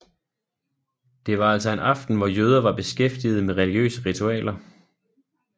Det var altså en aften hvor jøder var beskæftigede med religiøse ritualer